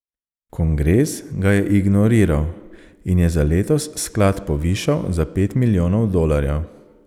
Kongres ga je ignoriral in je za letos sklad povišal za pet milijonov dolarjev.